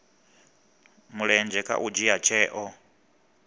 mulenzhe kha u dzhia tsheo